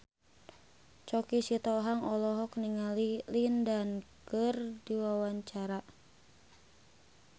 Choky Sitohang olohok ningali Lin Dan keur diwawancara